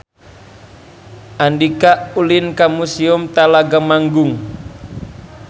Andika ulin ka Museum Telaga Manggung